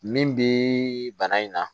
Min bi bana in na